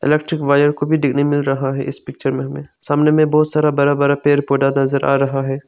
Wire को भी देखने मिल रहा है इस पिक्चर में हमें सामने में बहोत सारा बरा बरा पेड़ पौधा नजर आ रहा है।